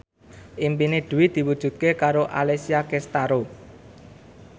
impine Dwi diwujudke karo Alessia Cestaro